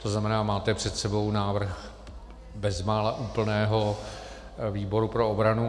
To znamená, máte před sebou návrh bezmála úplného výboru pro obranu.